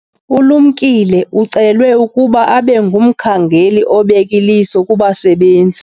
Ulumkile ucelwe ukuba abe ngumkhangeli obek' iliso kubasebenzi.